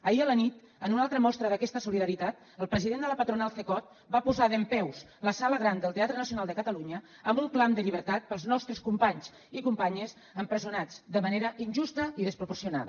ahir a la nit en una altra mostra d’aquesta solidaritat el president de la patronal cecot va posar dempeus la sala gran del teatre nacional de catalunya amb un clam de llibertat pels nostres companys i companyes empresonats de manera injusta i desproporcionada